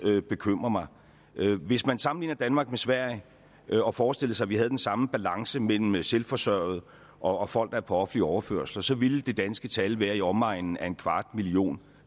bekymrer mig hvis man sammenligner danmark med sverige og forestillede sig at vi havde den samme balance mellem selvforsørgende og folk der er på offentlig overførsel så ville det danske tal være i omegnen af en kvart million